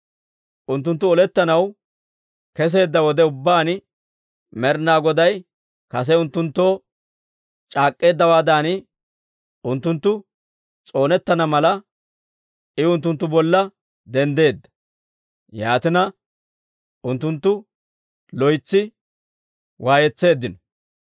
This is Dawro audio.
Unttunttu olettanaw kesseedda wode ubbaan, Med'inaa Goday kase unttunttoo c'aak'k'eeddawaadan unttunttu s'oonettana mala, I unttunttu bolla denddeedda. Yaatina, unttunttu loytsi waayetseeddino.